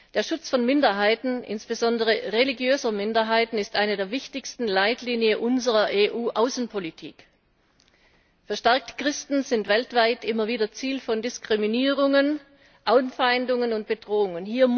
Der Schutz von Minderheiten, insbesondere religiöser Minderheiten, ist eine der wichtigsten Leitlinien unserer EU Außenpolitik. Verstärkt sind Christen weltweit immer wieder Ziel von Diskriminierungen, Anfeindungen und Bedrohungen.